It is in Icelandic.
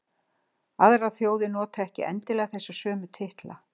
aðrar þjóðir nota ekki endilega þessa sömu titla